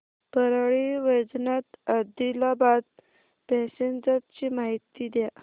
Parli Vaijnath Adilabad passenger ची माहिती द्या